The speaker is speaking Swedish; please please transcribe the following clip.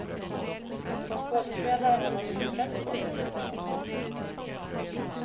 Som skådespelare har man mycket press på sig, menar hon.